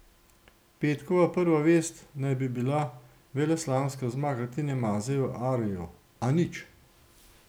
Petkova prva vest naj bi bila veleslalomska zmaga Tine Maze v Areju, a nič.